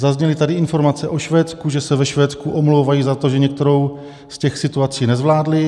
Zazněly tady informace o Švédsku, že se ve Švédsku omlouvají za to, že některou z těch situací nezvládli.